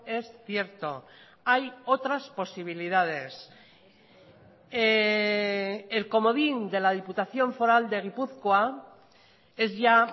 es cierto hay otras posibilidades el comodín de la diputación foral de gipuzkoa es ya